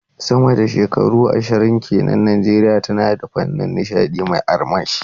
Sama da shekaru ashirin ke nan, Najeriya tana da fannin nishadi mai armashi.